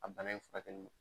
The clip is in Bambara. A bana in furakɛli